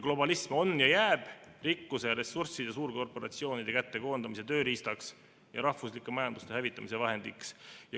Globalism on ja jääb rikkuse ja ressursside suurkorporatsioonide kätte koondamise tööriistaks ja rahvuslike majanduste hävitamise vahendiks.